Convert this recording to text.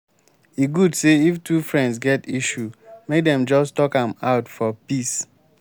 e good say if two friends get issue make dem just talk am out for peace.